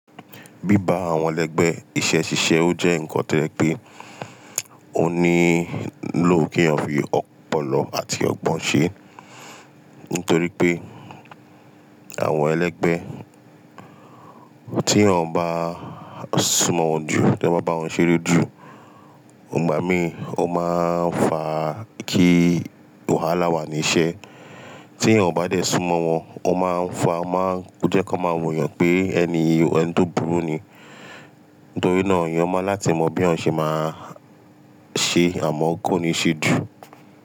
Bíba àwọn ẹlẹgbẹ́ iṣẹ́ ṣíṣe o jẹ́ ǹkan tójẹ pé ó nílò kí èèyàn fi ọ̀pọ̀lọpọ̀ àti ọgbọ̀n ṣe, nítorí pé àwọn ẹlẹgbẹ́ tí èèyàn bá súnmọ̀ wọn ju, tí ẹ bá bá wọn ṣeré jù, ò má mi, ó máa ń fa kí wàhálà wà ní iṣẹ́. Tí èèyàn ò bá dé súnmọ̀ wọn, ó máa ń fa o máa ń jẹ́ kí wọ́n máa wò yàn pé ẹni yìí ẹni tó burú ni. Nítorí náà, èèyàn mọ̀ láti mọ bí ọ̀ ń ṣe máa ṣe àmọ́ kó ni ṣe jùú.